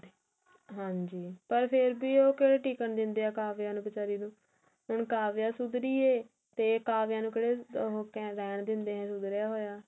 ਹਾਂਜੀ ਪਰ ਫ਼ੇਰ ਵੀ ਉਹ ਕਿਹੜਾ ਟਿਕਣ ਦਿੰਦੇ ਆ ਕਾਵਿਆ ਨੂੰ ਬਚਾਰੀ ਨੂੰ ਹੁਣ ਕਾਵਿਆ ਸੁਧਰੀ ਹੈ ਤੇ ਕਾਵਿਆ ਨੂੰ ਕਿਹੜਾ ਹੁਣ ਰਹਿਣ ਦਿੰਦੇ ਨੇ ਸੁਧਰਿਆ ਹੋਇਆ